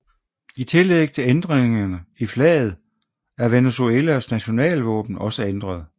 I tillæg til ændringerne i flaget er Venezuelas nationalvåben også ændret